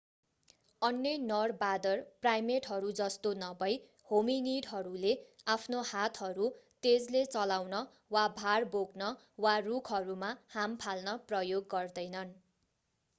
अन्य नर बाँदर प्राईमेटहरू जस्तो नभई होमिनिडहरूले आफ्नो हातहरू तेजले चलाउन वा भार बोक्न वा रूखहरूमा हाम फाल्न प्रयोग गर्दैनन्